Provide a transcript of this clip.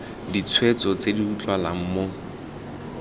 ditshwetso tse di utlwalang mo